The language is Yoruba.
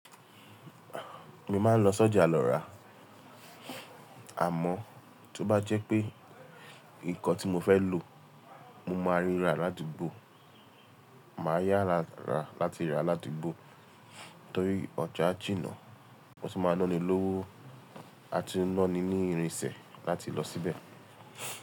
Mo maa n lọ s'ọ́jà lọ ra àmọ́, tó bá jẹ́ pé nǹkan tí mo fẹ́ lò, mo máa ríra l'ádugbò. Màá yára ra lati ra l'ádugbò torí ọjà jinà, o tun máa náni lówó a tu n náni ní irinṣẹ́ láti lọ síbẹ̀.